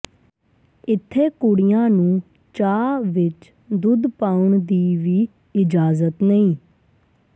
ਇੱਥੇ ਕੁੜੀਆਂ ਨੂੰ ਚਾਹ ਵਿੱਚ ਦੁੱਧ ਪਾਉਣ ਦੀ ਵੀ ਇਜਾਜ਼ਤ ਨਹੀਂ